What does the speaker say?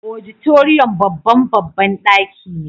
Auditorium babban babban daki ne.